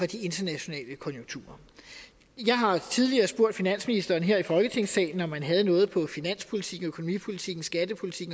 de internationale konjunkturer jeg har tidligere spurgt finansministeren her i folketingssalen om han havde noget på finanspolitik økonomipolitik skattepolitik